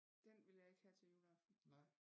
Den vil jeg ikke have til juleaften